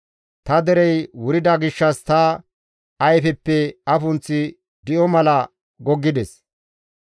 Ta derey wurida gishshas ta ayfeppe afunththi di7o mala goggides.